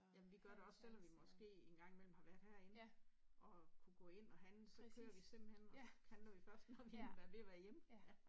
Jamen vi gør det også selvom vi måske engang imellem har været herinde og kunne gå ind og handle så kører vi simpelthen, og så handler vi først, når vi er ved at være hjemme